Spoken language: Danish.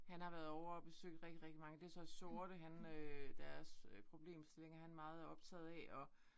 Han har været ovre og besøge rigtig rigtig mange det så sorte han øh deres øh problemstillinger han meget er optaget af og